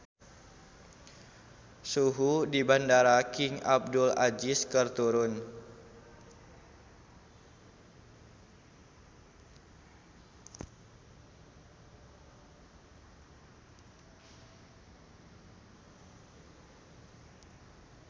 Suhu di Bandara King Abdul Aziz keur turun